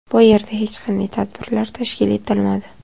Bu yerda hech qanday tadbirlar tashkil etilmadi.